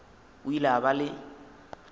o ile a ba le